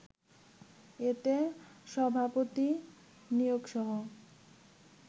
এতে সভাপতি নিয়োগসহ